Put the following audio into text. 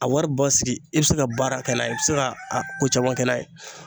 A wari basigi e be se ka baara kɛ n'a ye e be se ka a ko caman kɛ n'a ye